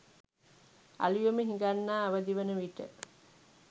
අළුයම හිඟන්නා අවදිවන විට